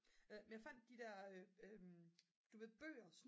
men jeg fandt de der du ved bøger